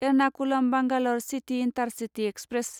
Ernakulam Bangalore city intercity express